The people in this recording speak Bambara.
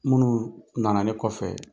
Munnuu nana ne kɔfɛ